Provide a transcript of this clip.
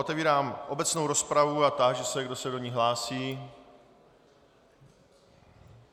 Otevírám obecnou rozpravu a táži se, kdo se do ní hlásí.